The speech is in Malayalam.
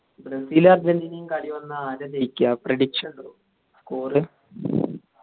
ബ്രസീൽ അർജന്റീനയും കളിവന്ന ആരാ ജയിക്ക്യാ prediction ഉണ്ടോ score